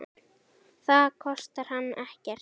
Það kostar hann ekkert.